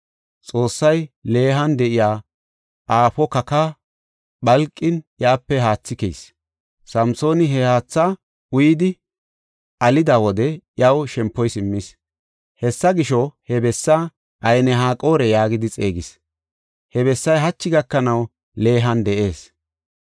Xoossay Lehan de7iya aafo kakaa phalqin iyape haathi keyis. Samsooni he haatha uyidi alida wode iyaw shempoy simmis. Hessa gisho, he bessaa Ayn-Haqore yaagidi xeegis. He bessay hachi gakanaw Lehan de7ees.